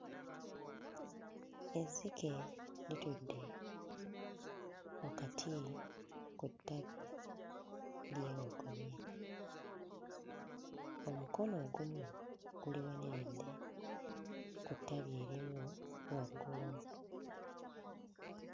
Ezzike litudde wakati ku ttabi lyewogomye. Omukono ogumu guliwaniridde ku ttabi erimu waggulu.